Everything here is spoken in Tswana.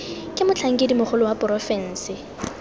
ke motlhankedi mogolo wa porofensi